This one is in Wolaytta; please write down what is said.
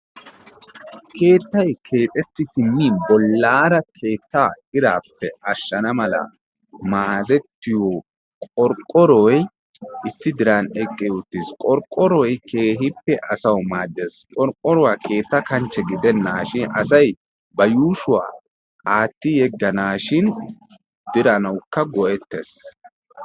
Keettay keexxeti simmin bollaara keettaa irappe ashshana mala maaddetiyo qorqqoroy issi diran eqqi uttiis. Qorqqoroy keehippe asawu maaddees. Qorqqoruwaa keetta kanchche gidenaashin asay ba yuushshuwaa aatti yeganashin diranawukka go''ettees.